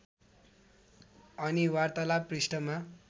अनि वार्तालाप पृष्ठमा